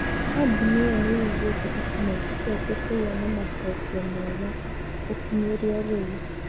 Kabuni ĩo nĩ yugĩte atĩ nĩ ĩhotete kũgĩa na macokio mega gũkinyĩria rĩu.